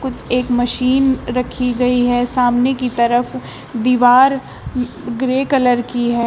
एक मशीन रखी गई है सामने की तरफ दीवार ग्रे कलर की है।